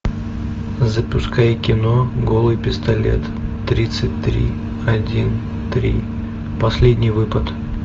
запускай кино голый пистолет тридцать три один три последний выпад